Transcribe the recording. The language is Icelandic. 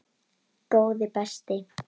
Góði besti!